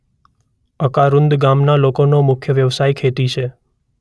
અકારુંદ ગામના લોકોનો મુખ્ય વ્યવસાય ખેતી છે.